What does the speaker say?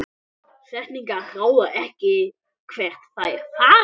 Setningar ráða ekki hvert þær fara.